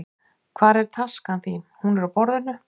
Hvar er taskan þín? Hún er á borðinu.